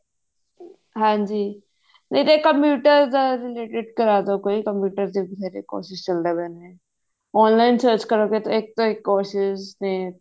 ਹਾਂਜੀ ਫ਼ੇਰ ਇਹ computer ਦੇ related ਕਰ ਦੋ ਕੋਈ computer ਦੇ ਬਥੇਰੇ courses ਚੱਲਦੇ ਪਏ ਨੇ online search ਕਰੋਗੇ ਤਾਂ ਇੱਕ ਤੋਂ ਇੱਕ courses ਨੇ